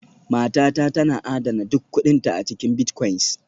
Matata tana adana duk kuɗinta a cikin bitcoins